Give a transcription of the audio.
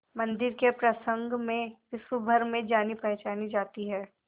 मंदिर के प्रसंग में विश्वभर में जानीपहचानी जाती है